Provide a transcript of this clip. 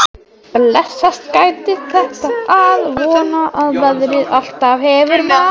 Maður hefur alltaf verið að vona að þetta gæti blessast.